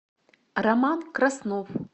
роман краснов